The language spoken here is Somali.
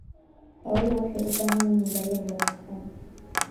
Xooluhu waxay u baahan yihiin daryeel wanaagsan.